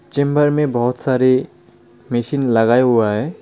Chamber मे बहोत सारी मेसिन लगाया हुआ हे.